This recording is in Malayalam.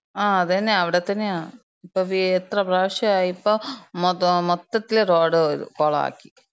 ആ അതന്നെ. അവ്ടെത്തന്നെയാ. ഇപ്പം എത്രപ്രാവശ്യായിപ്പം. മൊത്തം, മൊത്തത്തില് റോഡ് ഇത്, കൊളാക്കി.